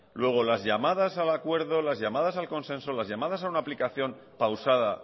luego las llamadas al acuerdo las llamadas al consenso las llamadas a una aplicación pausada